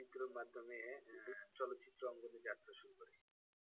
চিত্রর মাধ্যমে আহ চলচ্চিত্র অঙ্গনে যাত্রা শুরু করে।